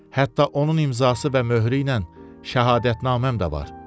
Hətta onun imzası və möhürü ilə şəhadətnaməm də var.